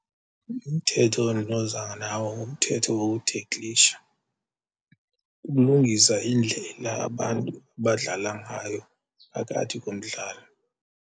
Umthetho endinoza nawo ngumthetho wokutheklisha, ukulungisa indlela abantu abadlala ngayo phakathi komdlalo.